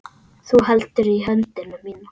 Þú heldur í höndina mína.